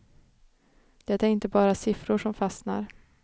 Det är inte bara siffror som fastnar.